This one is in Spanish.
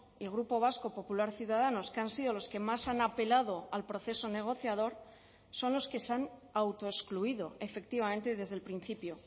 y grupo vasco popular ciudadanos que han sido los que más han apelado al proceso negociador son los que se han autoexcluido efectivamente desde el principio